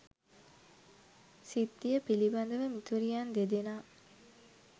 සිද්ධිය පිළිබඳව මිතුරියන් දෙදෙනා